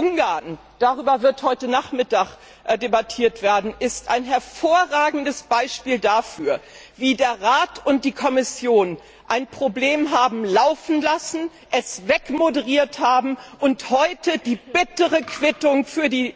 Ungarn darüber wird heute Nachmittag debattiert werden ist ein hervorragendes Beispiel dafür, wie der Rat und die Kommission ein Problem haben laufen lassen, es wegmoderiert haben und heute die bittere Quittung für die